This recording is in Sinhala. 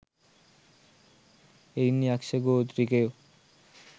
එයින් යක්‍ෂ ගෝත්‍රිකයෝ